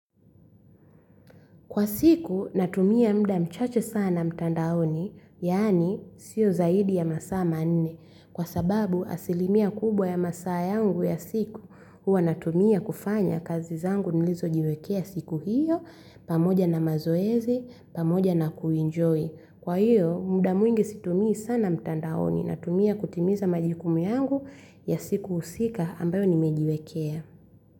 Kwa siku, natumia muda mchache sana mtandaoni, yaani, sio zaidi ya masaa manne. Kwa sababu, asilimia kubwa ya masaa yangu ya siku, huwa natumia kufanya kazi zangu nilizo jiwekea siku hiyo, pamoja na mazoezi, pamoja na kuenjoy. Kwa hiyo, muda mwingi situmii sana mtandaoni, natumia kutimiza majukumu yangu ya siku husika ambayo nimejiwekea.